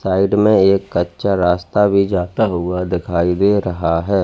Side में एक कच्चा रास्ता भी जाता हुआ दिखाई दे रहा है।